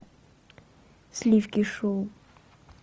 сливки шоу